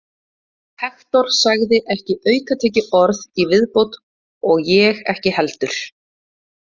Hektor sagði ekki aukatekið orð í viðbót og ég ekki heldur.